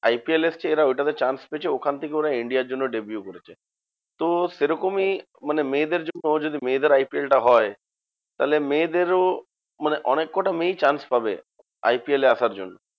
IPL এসেছে এরা ওইটাতে chance পেয়েছে ওখান থেকে ওরা India র জন্য deview করেছে। তো সেরকমই মানে মেয়েদের জন্য যদি মেয়েদের IPL টা হয়, তাহলে মেয়েদেরও মানে অনেক কটা মেয়েই chance পাবে, IPL এ আসার জন্য।